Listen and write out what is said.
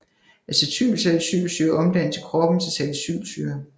Acetylsalicylsyre omdannes i kroppen til salicylsyre